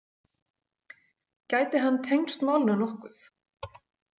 Gæti hann tengst málinu nokkuð?